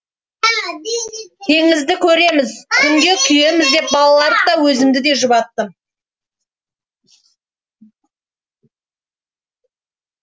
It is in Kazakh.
теңізді көреміз күнге күйеміз деп балаларды да өзімді де жұбаттым